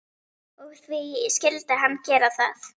Og því skyldi hann gera það.